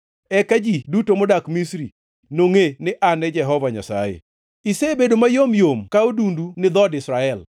Eka ji duto modak Misri nongʼe ni An e Jehova Nyasaye. “ ‘Isebedo mayom yom ka odundu ni dhood Israel.